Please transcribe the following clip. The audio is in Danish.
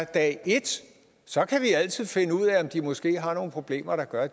dag et så kan vi altid finde ud af om de måske har nogle problemer der gør at